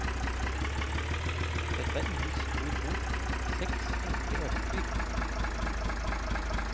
Dette er ingen stor bok, seks enkle eventyr.